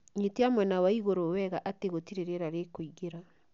Nyitia mwena wa igũrũ wega atĩ gũtirĩ rĩera rĩkũingĩra